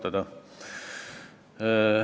Aitäh!